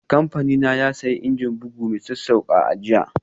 Kamfanina ya sayi injin bugu mai sassauƙa a jiya.